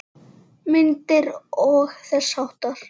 Myndir og þess háttar.